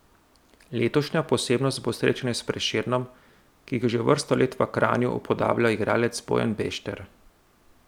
Letošnja posebnost bo srečanje s Prešernom, ki ga že vrsto leto v Kranju upodablja igralec Bojan Bešter.